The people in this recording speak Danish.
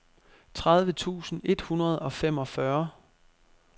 tredive tusind et hundrede og femogfyrre